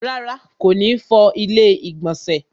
Rárá, kò ní fọ ilẹ́ ìgbọ̀nsẹ̀